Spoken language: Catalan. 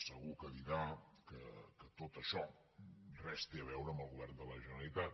segur que dirà que tot això res té a veure amb el govern de la generalitat